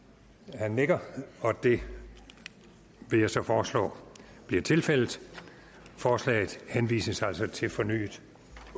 han nikker og det vil jeg så foreslå bliver tilfældet forslaget henvises altså til fornyet